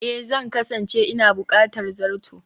Ee, Zan kasance ina buƙatar zato